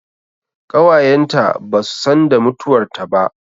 Ƙawayen ta ba su san da mutuwar ta ba